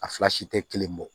A fila si tɛ kelen bɔ